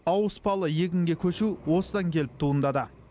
ауыспалы егінге көшу осыдан келіп туындады